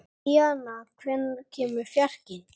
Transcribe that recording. Bríanna, hvenær kemur fjarkinn?